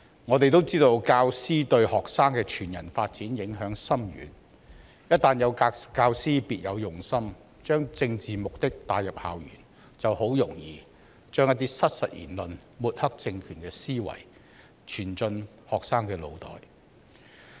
我們也知道，教師對學生的全人發展影響深遠，一旦有教師別有用心地把政治目的帶入校園，便很容易把一些失實言論及抹黑政權的思維傳進學生的腦袋。